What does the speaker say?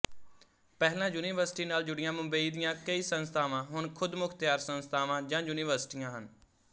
ਪਹਿਲਾਂ ਯੂਨੀਵਰਸਿਟੀ ਨਾਲ ਜੁੜੀਆਂ ਮੁੰਬਈ ਦੀਆਂ ਕਈ ਸੰਸਥਾਵਾਂ ਹੁਣ ਖ਼ੁਦਮੁਖ਼ਤਿਆਰ ਸੰਸਥਾਵਾਂ ਜਾਂ ਯੂਨੀਵਰਸਿਟੀਆਂ ਹਨ